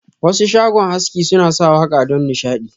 Wasu shago haski suna sa waka don nishadi.